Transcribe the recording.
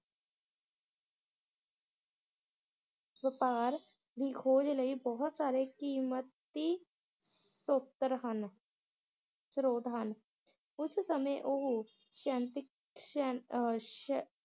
ਵਪਾਰ ਦੀ ਖੋਜ ਲਈ ਬਹੁਤ ਸਾਰੇ ਕੀਮਤੀ ਸੋਤਰ ਹਨ ਸਰੋਤ ਹਨ ਉਸ ਸਮੇ ਉਹ ਸ਼ਨਤੀਕ ਸ਼ਨ~ ਅਹ ਸ਼ਨ~